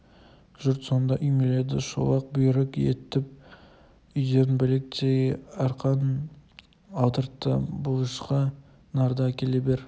жұрт сонда үймеледі шолақ бұйрык етіп үйден білектей арқан алдыртты бұлышқа нарды әкеле бер